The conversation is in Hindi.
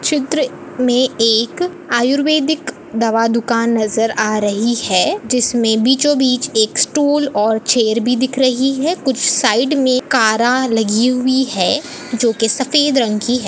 चित्र में एक आयुर्वेदिक दवा दुकान नजर आ रही है जिसमें बीचों-बीच एक स्टूल और चेयर भी दिख रही है कुछ साइड में कारा लगी हुई हैं जो की सफेद रंग की है।